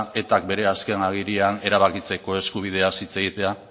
etak bere azken agirian erabakitzeko eskubideaz hitz egitea